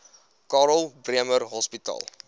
karl bremer hospitaal